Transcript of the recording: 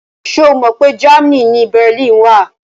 Ṣo Mọ pé Germany ni Berlin wà?